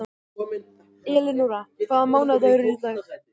Elinóra, hvaða mánaðardagur er í dag?